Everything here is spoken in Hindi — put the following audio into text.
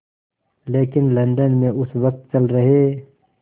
लेकिन लंदन में उस वक़्त चल रहे